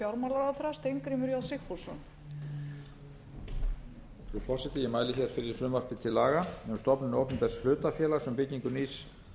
í næstu spólu frú forseti ég mæli hér fyrir frumvarpi til laga um stofnun opinbers hlutafélags um byggingu nýs